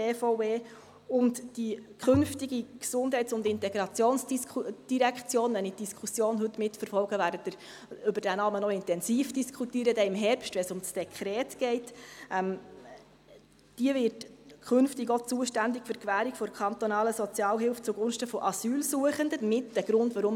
Die Gesundheits- und Integrationsdirektion (GID) – wenn ich die Diskussion heute mitverfolge, werden Sie dann im Herbst, wenn es um das Dekret geht, über diesen Namen noch intensiv diskutieren – wird künftig auch zuständig sein für die Gewährung der kantonalen Sozialhilfe zugunsten von Asylsuchenden, vorläufig Aufgenommenen und Flüchtlingen.